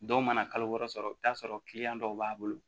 Dɔw mana kalo wɔɔrɔ sɔrɔ i bɛ t'a sɔrɔ dɔw b'a bolo